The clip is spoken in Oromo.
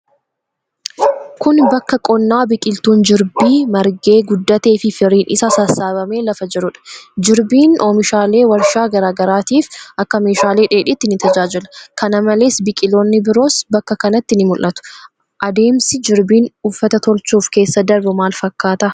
Kun, bakka qonnaa biqiltuun jirbii margee, guddatee fi firiin isaa sassaabbamee lafa jiruu dha. Jirbiin ,oomishaalee warshaa garaa garaatif akka meeshaa dheedhiitti ni tajaajila. Kana malees, biqiloonni biroos bakka kanatti ni mul'atu. Adeemsi jirbiin uffata tolchuuf keessa darbu maal fakkaata?